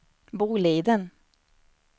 Boliden